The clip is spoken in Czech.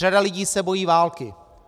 Řada lidí se bojí války.